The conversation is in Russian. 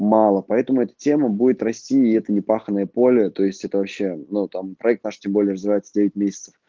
мало поэтому эта тема будет расти и это не паханное поле то есть это вообще но там проект наш тем более развивается девять месяцев